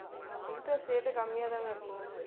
அஹ் interest rate உம் கம்மியா தாங்க இருக்கும்